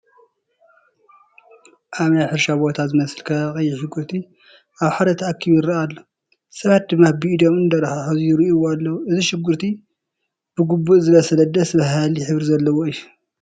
ኣብ ናይ ሕርሻ ቦታ ዝመስል ከባቢ ቀይሕ ሽጉርቲ ኣብ ሓደ ተኣኪቡ ይርአ ኣሎ፡፡ ሰባት ድማ ብኢዶም እንዳተሓሓዙ ይርእይዎ ኣለዉ፡፡ እዚ ሽጉርቲ ብግቡእ ዝበሰለ ደስ በሃሊ ሕብሪ ዘለዎ እዩ፡፡